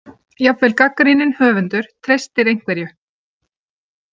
Jafnvel gagnrýninn höfundur treystir einhverju.